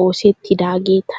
oosettidaageeta.